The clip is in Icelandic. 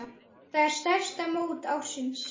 Þetta er stærsta mót ársins.